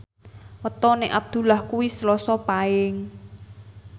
wetone Abdullah kuwi Selasa Paing